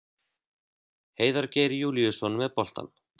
Heiðar Geir Júlíusson með boltann.